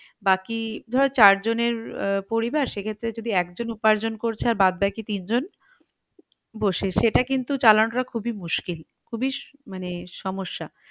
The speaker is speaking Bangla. বাকি ধরো চারজনের আহ পরিবার সেক্ষেত্রে যদি একজন উপার্জন করছে আর বাদ বাকি তিনজন বসে সেটা কিন্তু চালানো টা খুবই মুশকিল খুবই মানে সমস্যা